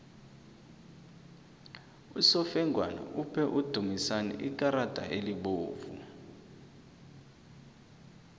usofengwana uphe udumisani ikarada elibovu